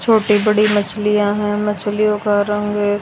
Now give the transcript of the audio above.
छोटी बड़ी मछलियां हैं मछलियों का रंग--